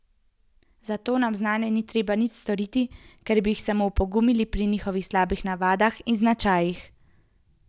Zato nam zanje ni treba nič storiti, ker bi jih samo opogumili pri njihovih slabih navadah in značajih.